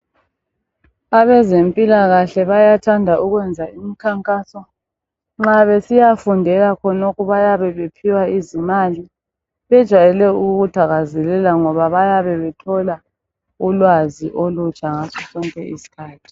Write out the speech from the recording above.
abezempilakahle bayathanda ukwenza imikhankaso nxa besiyafundela khonokhu bayebe bephiwa izimali bejayele ukukuthakazelela ngoba bayabe bethola ulwazi olutsha ngaso sonke isikhathi